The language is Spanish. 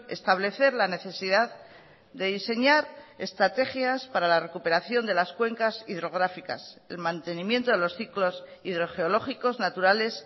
establecer la necesidad de diseñar estrategias para la recuperación de las cuencas hidrográficas el mantenimiento de los ciclos hidrogeológicos naturales